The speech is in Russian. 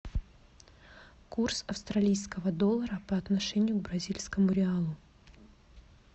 курс австралийского доллара по отношению к бразильскому реалу